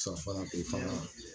Surafana i fana